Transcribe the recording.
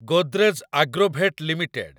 Godrej Agrovet limited